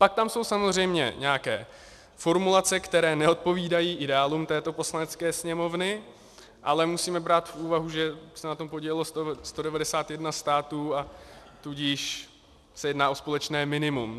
Pak tam jsou samozřejmě nějaké formulace, které neodpovídají ideálům této Poslanecké sněmovny, ale musíme brát v úvahu, že se na tom podílelo 191 států, a tudíž se jedná o společné minimum.